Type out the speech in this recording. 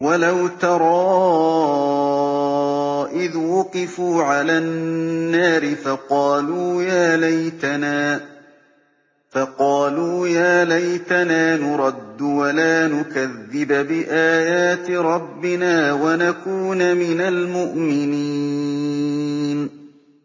وَلَوْ تَرَىٰ إِذْ وُقِفُوا عَلَى النَّارِ فَقَالُوا يَا لَيْتَنَا نُرَدُّ وَلَا نُكَذِّبَ بِآيَاتِ رَبِّنَا وَنَكُونَ مِنَ الْمُؤْمِنِينَ